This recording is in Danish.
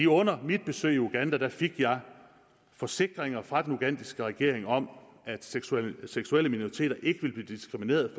under mit besøg i uganda fik jeg forsikringer fra den ugandiske regering om at seksuelle seksuelle minoriteter ikke ville blive diskrimineret